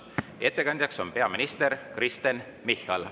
Ettekandja on peaminister Kristen Michal.